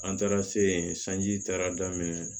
An taara seji taara daminɛ